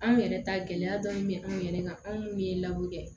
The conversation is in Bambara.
Anw yɛrɛ ta gɛlɛya dɔɔni bɛ anw yɛrɛ kan anw minnu ye la kɛ